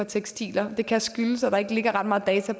tekstiler det kan skyldes at der ikke ligger ret meget data